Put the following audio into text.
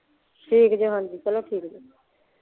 ਠੀਕ ਜੇ ਹਾਂਜੀ ਚਲੋ ਠੀਕ ਜੇ